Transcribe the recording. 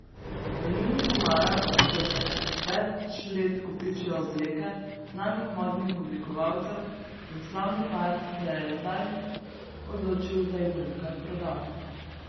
V njunih omarah se že več let kopičijo obleke znanih modnih oblikovalcev in slavni par se je zdaj odločil, da jih bo nekaj prodal.